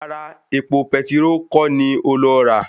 Rárá, epo petiró kọ́ ni ó lọ rà